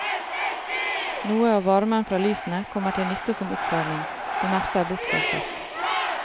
Noe av varmen fra lysene kommer til nytte som oppvarming, det meste er bortkastet.